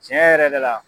Tiɲɛ yɛrɛ la